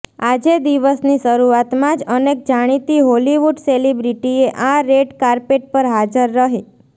આજે દિવસની શરૂઆતમાં જ અનેક જાણીતી હોલિવૂડ સેલેબ્રિટીએ આ રેડ કાર્પેટ પર હાજર રહી